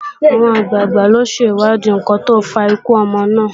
Àwọn àgbàgbà ó ṣèwádìí ǹkan tó fa ikú ọmọ náà